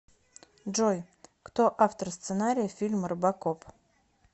джой кто автор сценария фильма робокоп